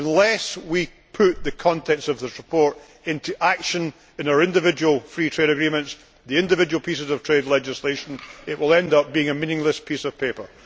Unless we put the contents of this report into action in our individual free trade agreements, the individual pieces of trade legislation, it will end up being a meaningless piece of paper.